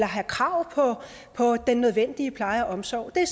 har krav på den nødvendige pleje og omsorg det er